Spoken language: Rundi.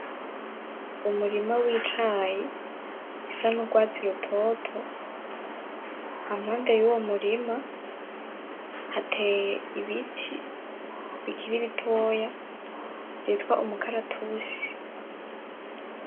Umurima wicayi isa nurwatsi rutoto. Aho impande yuwomurima, hateye ibiti bikiri bitoya vyitwa imukaratusi.